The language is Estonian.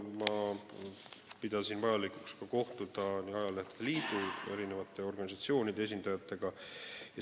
Ma pidasin vajalikuks kohtuda ajalehtede liidu ja mitmete organisatsioonide esindajatega.